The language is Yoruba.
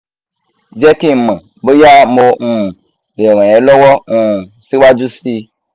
jẹ́ kí n mọ̀ bóyá mo um lè ràn ẹ́ lọ́wọ́ um síwájú sí i